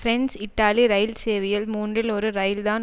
France Italy ரயில் சேவையில் மூன்றில் ஒரு ரயில்தான்